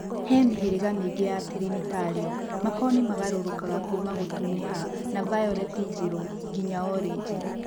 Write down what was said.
He mĩhĩrĩga mĩingi ya Trĩnĩtario, makoni magarũrũkaga kuma gũtuniha na vayoleti njirũ nginya orĩji.